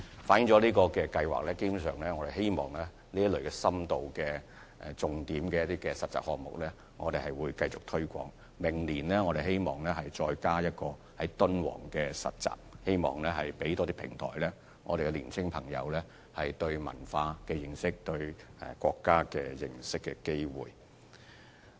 事實上，我們希望繼續重點推廣這類有深度的實習項目，更希望明年增加一項在敦煌進行的實習計劃，藉此提供更多平台，讓年青朋友提高對文化的認識和認識國家的機會。